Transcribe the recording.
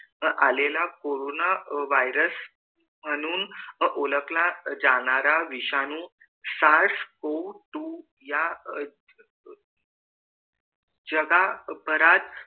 आलेला corona virus म्हणून ओळखला जाणारा विषाणू जगभरात